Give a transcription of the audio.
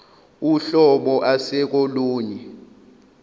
uhlobo ase kolunye